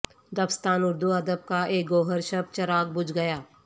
دبستان اردو ادب کا ایک گوہر شب چراغ بجھ گیا